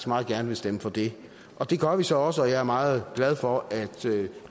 meget gerne vil stemme for det og det gør vi så også og jeg er meget glad for at